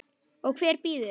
Og hver býður?